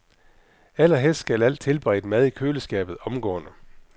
Allerhelst skal al tilberedt mad i køleskabet omgående.